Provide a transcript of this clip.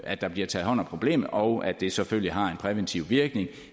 at der bliver taget hånd om problemet og at det selvfølgelig har en præventiv virkning